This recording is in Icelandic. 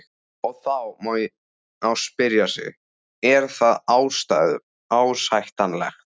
Og þá má spyrja sig, er það ásættanlegt?